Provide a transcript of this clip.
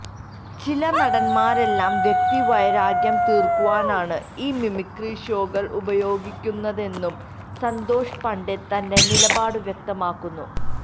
ചില നടന്മാരെല്ലാം വ്യക്തി വൈരാഗ്യം തീര്ക്കുവാനാണ് ഈ മിമിക്രി ഷോകള് ഉപയോഗിക്കുന്നതെന്നും സന്തോഷ് പണ്ഡിറ്റ് തന്റെ നിലപാട് വ്യക്തമാക്കുന്നു